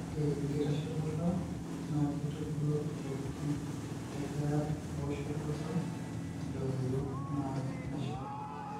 Ore enkitashoto oltau na kebulu tonkatitin ekira eoshoto oltau adoyio na neshalu.